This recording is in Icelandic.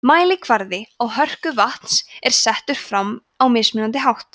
mælikvarði á hörku vatns er settur fram á mismunandi hátt